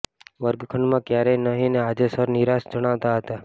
વર્ગખંડમાં કયારેય નહિ ને આજે સર નિરાશ જણાતા હતા